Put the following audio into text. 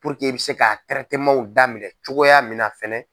i bɛ se ka daminɛ cogoya min na fɛnɛ.